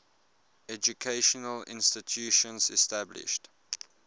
educational institutions established